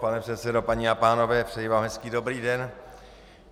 Pane předsedo, paní a pánové, přeji vám hezký dobrý den.